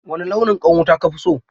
Wane launin ƙwan wuta ka fi so?